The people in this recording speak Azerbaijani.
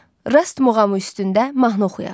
Rast muğamı üstündə mahnı oxuyaq.